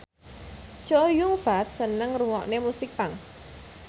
Chow Yun Fat seneng ngrungokne musik punk